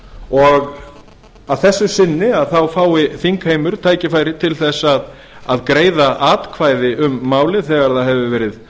og að þessu sinni fái þingheimur tækifæri til að greiða atkvæði um málið þegar það hefur verið